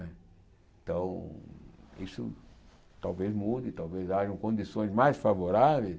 Né então, isso talvez mude, talvez hajam condições mais favoráveis